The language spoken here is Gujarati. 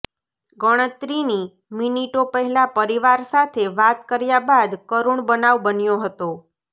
ગણતરીની મીનીટો પહેલા પરિવાર સાથે વાત કર્યા બાદ કરૃણ બનાવ બન્યો હતો